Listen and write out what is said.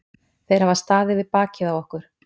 Þeir hafa staðið við bakið á okkur.